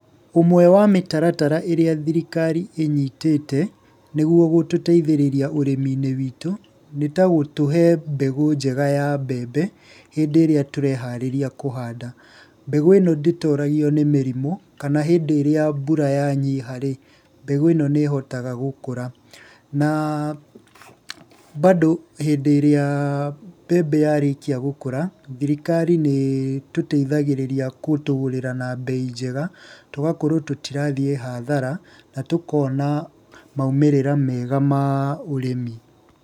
Ũmwe wa mĩtaratara ĩrĩa thirikari inyitĩte nĩguo gũtũteithĩrĩria ũrĩmi-inĩ witũ, nĩtagũtũhe mbegũ njega ya mbembe hĩndĩ ĩrĩa tũreharĩria kũhanda. Mbegũ ĩno ndĩtoragio nĩ mĩrimũ, kana hĩndĩ ĩrĩa mbura yanyiha-ri, mbegũ ĩno nĩ ĩhotaga gũkũra. Na bado hĩndĩ ĩrĩa mbembe yarĩkia gũkũra, thirikari nĩ ĩtuteithagĩrĩria gũtũgũrĩra na mbei njega, tũgakorwo tũtirathiĩ hathara, na tũkona maumĩrĩra mega ma ũrĩmi.